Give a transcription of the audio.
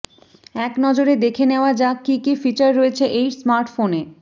এক নজরে দেখে নেওয়া যাক কি কি ফিচার রয়েছে এই স্মার্টফোনে